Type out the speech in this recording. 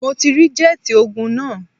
Mo ti rí jẹ́ẹ̀tì ogun náà